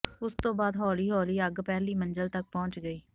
ਉਸ ਤੋਂ ਬਾਅਦ ਹੌਲੀ ਹੌਲੀ ਅੱਗ ਪਹਿਲੀ ਮੰਜ਼ਿਲ ਤੱਕ ਪਹੁੰਚ ਗਈ